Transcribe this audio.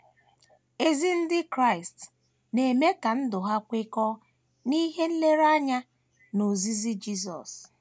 Ezi ndị Kraịst na - eme ka ndụ ha kwekọọ n’ihe nlereanya na ozizi Jisọs.